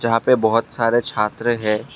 यहां पे बहुत सारे छात्र है।